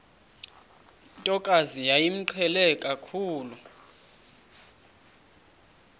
ntokazi yayimqhele kakhulu